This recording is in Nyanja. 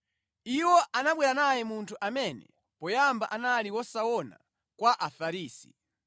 Iwo anabwera naye munthu amene poyamba anali wosaona kwa Afarisi.